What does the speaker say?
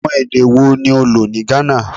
Awọn ede wo ni o lo ni Ghana?